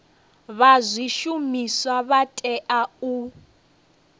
vha zwishumiswa vha tea u